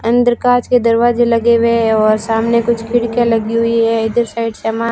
अंदर कांच के दरवाजे लगे हुए हैं और सामने कुछ खिड़कियां लगी हुई हैं इधर साइड सामान--